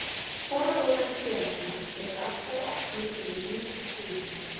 Forráðamenn félaga eru alltaf opnir fyrir nýjum hugmyndum.